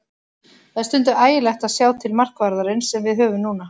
Það er stundum ægilegt að sjá til markvarðarins sem við höfum núna.